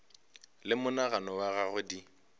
le monagano wa gagwe di